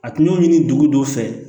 A tun y'o ɲini dugu dɔ fɛ